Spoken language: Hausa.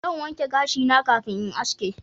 Zan wanke gashi na kafin in yi haski